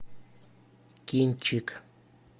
кинчик